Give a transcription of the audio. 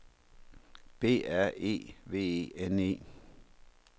B R E V E N E